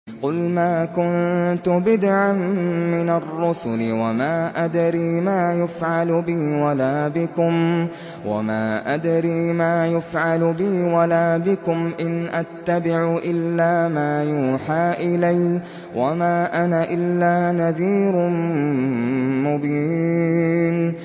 قُلْ مَا كُنتُ بِدْعًا مِّنَ الرُّسُلِ وَمَا أَدْرِي مَا يُفْعَلُ بِي وَلَا بِكُمْ ۖ إِنْ أَتَّبِعُ إِلَّا مَا يُوحَىٰ إِلَيَّ وَمَا أَنَا إِلَّا نَذِيرٌ مُّبِينٌ